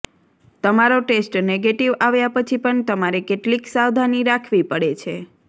તમારો test negative આવ્યા પછી પણ તમારે કેટલીક સાવધાની રાખવી પડે છે